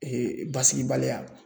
basigibaliya.